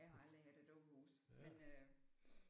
Jeg har aldrig haft et dukkehus men øh